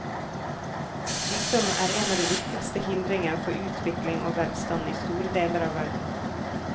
Sykdom er en av de viktigste hindringer for utvikling og velstand i store deler av verden.